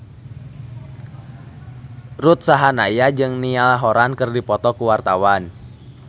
Ruth Sahanaya jeung Niall Horran keur dipoto ku wartawan